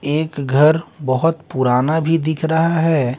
एक घर बहुत पुराना भी दिख रहा है।